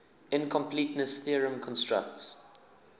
incompleteness theorem constructs